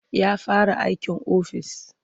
Ya fara aikin ofis.